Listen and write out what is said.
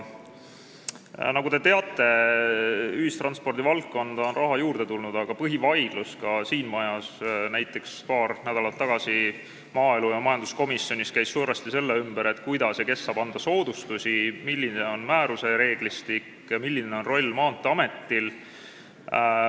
Nagu te teate, on ühistranspordi valdkonda raha juurde tulnud, aga näiteks ka siin majas käis paar nädalat tagasi põhivaidlus maaelukomisjonis ja majanduskomisjonis suuresti selle üle, kuidas ja kes saab anda soodustusi, milline on määruse reeglistik ja milline roll on Maanteeametil.